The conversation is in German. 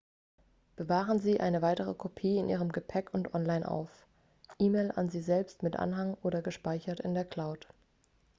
bewahren sie eine weitere kopie in ihrem gepäck und online auf e-mail an sie selbst mit anhang oder gespeichert in der cloud